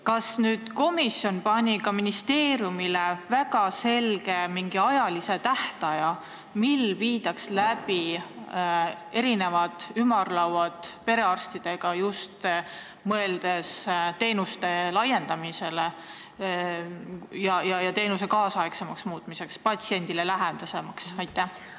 Kas komisjon määras ministeeriumile mingi väga selge tähtaja, millal tuleks läbi viia ümarlauad perearstidega, just mõeldes teenuste valiku laiendamisele ning teenuste nüüdisaegsemaks ja patsiendile lähedasemaks muutmisele?